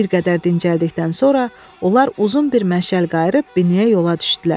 Bir qədər dincəldikdən sonra onlar uzun bir məşəl qayırıb binəyə yola düşdülər.